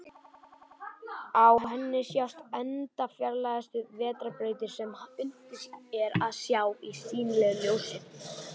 Á henni sjást enda fjarlægustu vetrarbrautir sem unnt er að sjá í sýnilegu ljósi.